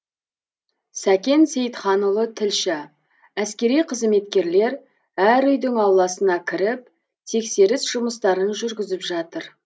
сәкен сейітханұлы тілші әскери қызметкерлер әр үйдің ауласына кіріп тексеріс жұмыстарын жүргізіп жатыр